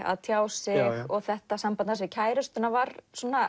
að tjá sig þetta samband hans við kærustuna var